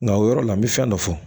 Nka o yɔrɔ la n bɛ fɛn dɔ fɔ